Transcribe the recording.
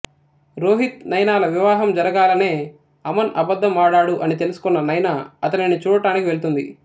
రోహిత్ నైనాల వివాహం జరగాలనే అమన్ అబద్ధం ఆడాడు అని తెలుసుకొన్న నైనా అతనిని చూడటనికి వెళ్తుంది